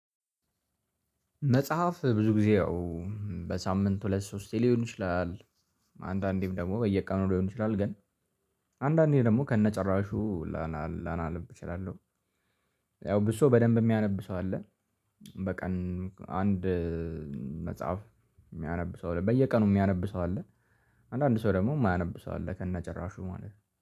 መጽሐፍ ብዙ ጊዜ ያው በሳምንት ሁለት ሶስት ሊሆን ይችላል። አንዳንዴም ደግሞ በየቀኑ ሊሆን ይችላል ግን አንዳንዴ ደግሞ ከነጨራሹ ላ ላ ነብ እችላለሁ። ያው ብዙ ሰው በደንብ የሚያነብ ሰው አለ። በቀን አንድ መጽሐፍ የሚያነብ ሰው አለ በየቀኑ የሚያነብ ሰው አለ። አንዳንድ ሰው ደግሞ የማያነብ ሰው አለ ከነጭራሹ ማለት ነው።